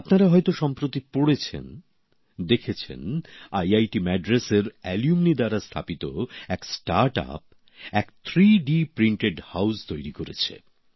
আপনারা হয়তো সম্প্রতি পড়েছেন দেখেছেন আইআইটি ম্যাড্রাসের এক প্রাক্তনীর নতুন উদ্যোগ সংস্থা একটি ত্রিমাত্রিক মুদ্রণে বাড়ি তৈরি করেছে